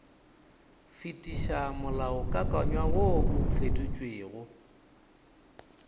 fetiša molaokakanywa wo o fetotšwego